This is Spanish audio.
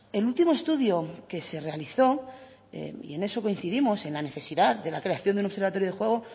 el último estudio que se realizó y en eso coincidimos en la necesidad de la creación de un observatorio de juego